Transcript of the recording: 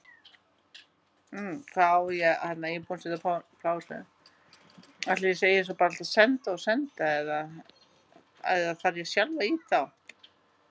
Afar sjaldgæft er að sléttuúlfar grafi sínar eigin holur.